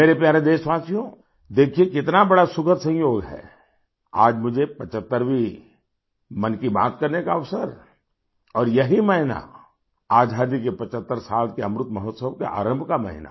मेरे प्यारे देशवासियो देखिये कितना बड़ा सुखद संयोग है आज मुझे 75वीं मन की बात करने का अवसर और यही महीना आज़ादी के 75 साल के अमृत महोत्सवके आरंभ का महीना